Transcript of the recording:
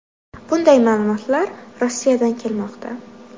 Bunday ma’lumotlar Rossiyadan kelmoqda.